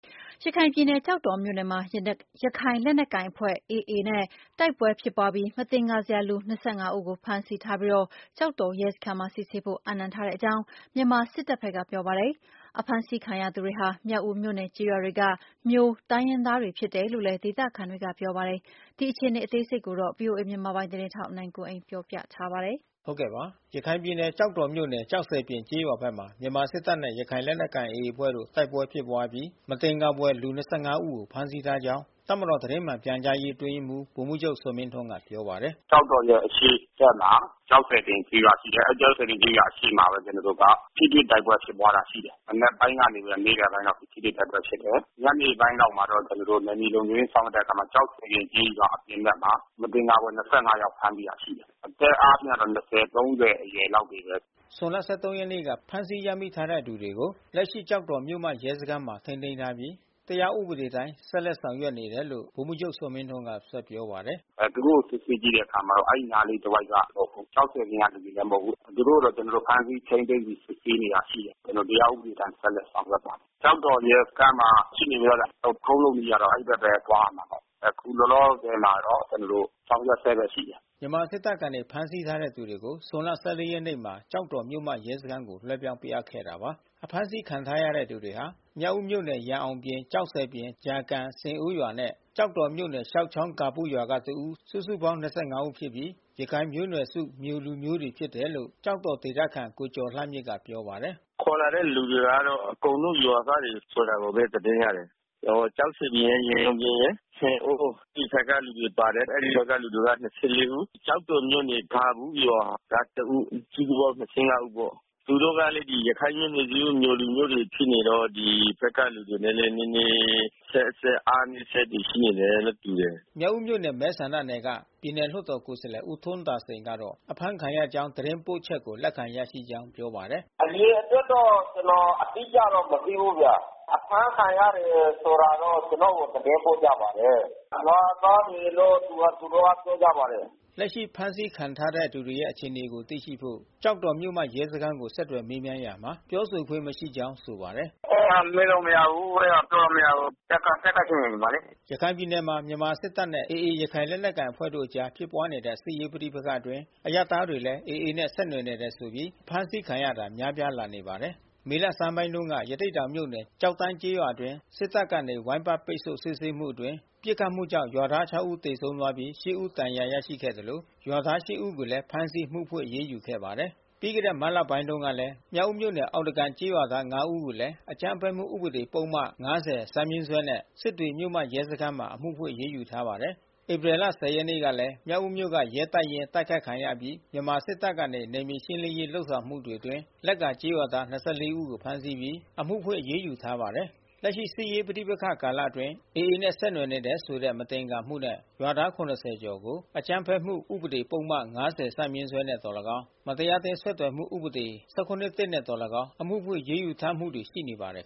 ရခိုင်ပြည်နယ် ကျောက်တော်မြို့နယ်မှာ ရခိုင်လက်နက်ကိုင် AA အဖွဲ့နဲ့ တိုက်ပွဲဖြစ်ပွားအပြီး မသင်္ကာဘွယ်လူ ၂၅ ဦးကို ဖမ်းဆီးထားပြီး ကျောက်တော်ရဲစခန်းမှာ စစ်ဆေးဖို့အပ်နှံထားကြောင်း မြန်မာစစ်တပ်က ပြောပါတယ်။ ဒေသခံတွေကတော့ အဖမ်းဆီးခံရသူတွေဟာ မြောက်ဦးမြို့နယ်ကျေးရွာတွေက မြိုတိုင်းရင်းသားတွေ ဖြစ်တယ်လို့လည်း ပြောနေတာပါ။ ဒီအခြေအနေကို ဗွီအိုအေမြန်မာပိုင်း သတင်းထောက် နိုင်ကွန်းအိန်က သတင်းပေးပို့ထားပါတယ်။ ရခိုင်ပြည်နယ် ကျောက်တော်မြို့နယ် ကျောက်ဆည်ပြင်ကျေးရွာဘက်မှာ မြန်မာစစ်တပ်နဲ့ ရခိုင်လက်နက်ကိုင် AA အဖွဲ့ တို့ တိုက်ပွဲဖြစ်ပွားအပြီး မသင်္ကာဘွယ်လူ ၂၅ ဦးကို ဖမ်းဆီးထားကြောင်း တပ်မတော် သတင်းမှန်ပြန်ကြားရေး အတွင်းရေးမှူး ဗိုလ်မှူးချုပ်ဇော်မင်းထွန်းက ပြောပါတယ်။ “ကျောက်တော်ရဲ့ အရှေ့ဘက်မှာ ကျောက်ဆည်ပြင်ကျေးရွာ ရှိတယ်။ အဲဒီကျောက်ဆည်ပြင်ကျေးရွာ အရှေ့ဘက်မှာပဲ ကျနော်တို့က ထိတွေ့ တိုက်ပွဲဖြစ်ပွားတာ ရှိတယ်။ မနက်ပိုင်းကနေ နေ့လယ်ပိုင်းလောက် ထိတွေ့တိုက်ပွဲ ဖြစ်ပွားတယ်။ ညနေပိုင်းလောက်မှာတော့ ကျနော်တို့ နယ်မြေလုံခြုံရေး ဆောင်ရွက်တဲ့အခါမှာ ကျောက်ဆည်ပြင်ကျေးရွာအပြင် ဘက်မှာ မသင်္ကာစရာ ၂၅ ယောက်ဖမ်းဆီး ရရှိတယ်။ အသက်အားဖြင့်တော့ ၂ဝ၊ ၃ဝ အရွယ်လောက်တွေပဲ။” ဇွန်လ ၁၃ ရက်နေ့က ဖမ်းဆီးရမိထားတဲ့သူတွေကို လက်ရှိကျောက်တော်မြို့မ ရဲစခန်းမှာ ထိန်းသိမ်းထားပြီး တရားဥပဒေအတိုင်း ဆက်လက်ဆောင်ရွက်နေတယ်လို့ စစ်တပ်ပြောခွင့်ရသူ ဗိုလ်မှူးချုပ်ဇော်မင်းထွန်း ကပြောပါတယ်။ “သူတို့ကို စစ်ဆေးကြည့်တဲ့အခါမှာတော့ အဲဒီနားလေးတဝိုက်က မဟုတ်ဘူး။ ကျောက်ဆည်ပြင်က လူတွေလည်း မဟုတ်ဘူး။ သူတို့ကို ကျနော်တို့ ဖမ်းဆီးထိန်းသိမ်းပြီး စစ်ဆေးနေတာရှိတယ်။ တရားဥပဒေအတိုင်း ဆက်လက်ဆောင်ရွက်သွားမယ်။ ကျောက်တော်ရဲစခန်းမှာရှိနေတယ်။ လုပ်ထုံးလုပ်နည်းကတော့ အဲဒီဘက်ပဲ သွားရမှာပဲ။ အခုလောလောဆယ်တော့ ကျနော်တို့ ဆောင်ရွက်ဆဲပဲရှိတယ်။” စစ်တပ်က ဖမ်းဆီးထားတဲ့ သူတွေကို ဇွန်လ ၁၄ ရက်နေ့မှာ ကျောက်တော်မြို့မ ရဲစခန်းကို လွှဲပြောင်းပေးအပ်ခဲ့တာပါ။ အဖမ်းဆီးခံထားရတဲ့ သူတွေဟာ မြောက်ဦးမြို့နယ် ရန်အောင်ပြင် ကျောက်ဆည်ပြင် ကြာကန် ဆင်အိုးရွာနဲ့ ကျောက်တော်မြို့နယ် ရှောက်ချောင်းဂါပုရွာက တဦး စုစုပေါင်း ၂၅ ဦးဖြစ်ပြီး ရခိုင်မျိုးနွယ်စု မြိုလူမျိုးများဖြစ်တယ်လို့ ကျောက်တော်ဒေသခံ ကိုကျော်လှမြင့်ကပြောပါတယ်။ “ခေါ်လာတဲ့ လူတွေကလည်း အကုန်လုံးရွာသားတွေဆိုတာပဲ သတင်းရတယ်။ ကျောက်ဆည်ပြင်ရယ် ရန်အောင်ပြင်ရယ် ဆင်အိုးအဲဒီဘက်က လူတွေပါတယ်။ အဲဒီရွာက လူတွေက ၂၄ ဦး။ ကျောက်တော်မြို့နယ် ဂါပုရွာကတဦး စုစုပေါင်း ၂၅ ဦးပေါ့။ သူတို့ကလည်း ရခိုင်မျိုးနွယ်စုမြိုလူမျိးတွေ ဖြစ်နေတော့ ဒီဘက်ကလူတွေနဲ့ နည်းနည်း အဆက်ဆက် အားနည်းချက်ရှိနေတယ်နဲ့ တူတယ်။” မြောက်ဦးမြို့နယ် မဲဆန္ဒနယ်က ပြည်နယ်လွှတ်တော်ကိုယ်စားလှယ်ဦး ထွန်းသာစိန်ကတော့ အဖမ်းခံရကြောင်းသတင်း ပို့ချက်ကို လက်ခံရရှိကြောင်းပြောပါတယ်။ “အရေအတွက်တော့ ကျနော်အတိအကျ မသိဘူးဗျ။ အဖမ်းခံရတယ်ဆိုတာတော့ ကျနော်ကိုသတင်းပို့ကြပါတယ်။ ရွာသားတွေလို့ သူတို့က သတင်းပို့ကြပါတယ်။” လက်ရှိဖမ်းဆီးခံထားတဲ့ သူတွေရဲ့အခြေအနေကိုသိရှိဖို့ကျောက်တော်မြို့မရဲစခန်းကိုဆက်သွယ်မေးမြန်းရာမှာ ပြောခွင့်မရှိကြောင်း ဆိုပါတယ်။ “အဲတာ မေးလို့မရဘူး။ အဲတာပြောလို့မရဘူး။ တပ်က ဖြစ်လို့နေမှာလေ။” ရခိုင်ပြည်နယ်မှာ မြန်မာ့စစ်တပ်နဲ့ AA ရခိုင်လက်နက်ကိုင်အဖွဲ့တို့အကြားမှာ ဖြစ်ပွားတဲ့စစ်ရေးပဋိပက္ခအတွင်း အရပ်သားတွေလည်း AA နဲ့ ဆက်နွယ်နေတယ်ဆိုပြီး အဖမ်းခံရတာ များပြားလာနေပါတယ်။ မေလဆန်းပိုင်းတုန်းက ရသေ့တောင်မြို့နယ် ကျောက်တန်းကျေးရွာအတွင်း စစ်တပ်ကနေ ဝိုင်းပတ်ပိတ်ဆို့ စစ်ဆေးမှုအတွင်း ပစ်ခတ်မှုကြောင့် ရွာသား ခြောက် ဦး သေဆုံးသွားပြီး ရှစ် ဦး ဒဏ်ရာ ရရှိခဲ့သလို ရွာသား ရှစ် ဦးကိုလည်း ဖမ်းဆီးပြီး အမှုဖွင့် အရေးယူထားပါတယ်။ ပြီးခဲ့တဲ့မတ်လကုန်ပိုင်းကလည်း မြောက်ဦးမြို့နယ်၊ အောက်သားကန်ကျေးရွာသား ငါး ဦးကိုလည်း အကြမ်းဖက်မှု ဥပဒေ ပုဒ်မ ၅၀ ဈ ဖြင့် စစ်တွေမြို့မရဲစခန်းမှာ အမှုဖွင့်အရေးယူထားပါတယ်။ ဧပြီလ ၁၀ ရက်နေ့ကလည်း မြောက်ဦးမြို့က ရဲတပ်ရင်း တိုက်ခိုက်ခံရအပြီး မြန်မာစစ်တပ်ကနေ နယ်မြေရှင်းလင်းရေး ဆောင်ရွက်မှုတွေအတွင်း လက္ကာကျေးရွာသား ၂၄ ဦး ဖမ်းဆီးပြီး အမှုဖွင့် အရေးယူထားပါတယ်။ လက်ရှိစစ်ရေး ပဋိပက္ခကာလအတွင်း AA နဲ့ ဆက်နွယ်နေတယ်ဆိုတဲ့ မသင်္ကာမှုနဲ့ ရွာသား ၇၀ ကျော်ကို အကြမ်းဖက်မှုဥပဒေ ပုဒ်မ ၅၀ ဈ နဲ့ သော်လည်းကောင်း မတရားအသင်းဆက်သွယ်မှု ဥပဒေ ၁၇/၁ နဲ့ သော်လည်းကောင်း အမှုဖွင့် အရေးယူထားမှုတွေ ရှိနေပါတယ်